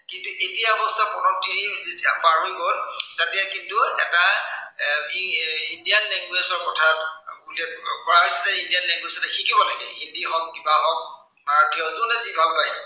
কিন্তু এতিয়া অৱশ্য়ে প্ৰথম তিনি যেতিয়া পাৰ হৈ গল, তেতিয়া কিন্তু এটা এৰ কি indian language ৰ কথা বুলি আহ কোৱা হৈছে যে indian lnguage টো তেতিয়া শিকিব লাগিব। হিন্দী হওক, কিবা হওক বা যোনে যি ভাল পায়।